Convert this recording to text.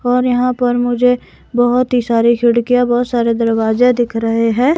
और यहां पर मुझे बहोत ही सारी खिड़कियां बहोत सारे दरवाज दिख रहे हैं।